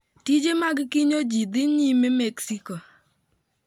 Tije mag kinyo ji dhi nyime Mexico